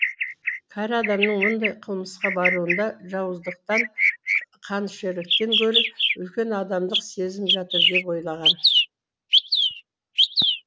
кәрі адамның мұндай қылмысқа баруында жауыздықтан қанішерліктен гөрі үлкен адамдық сезім жатыр деп ойлаған